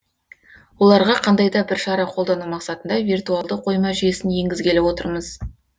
оларға қандай да бір шара қолдану мақсатында виртуалды қойма жүйесін енгізгелі отырмыз